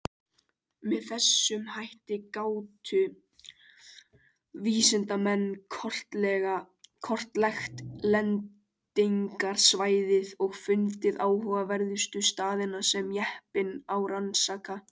Með þessum hætti gátu vísindamenn kortlagt lendingarsvæðið og fundið áhugaverðustu staðina sem jeppinn á rannsaka.